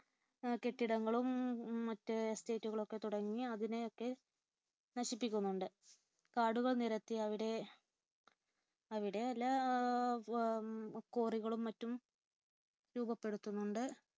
കെട്ടിടങ്ങളും മറ്റ് estate കളുംഒക്കെ തുടങ്ങി അതിനെയൊക്കെ നശിപ്പിക്കുന്നുണ്ട്. കാടുകൾ നിരത്തി അവിടെ അവിടെയല്ല ഉം quarry കളും മറ്റും രൂപപ്പെടുത്തുന്നുണ്ട്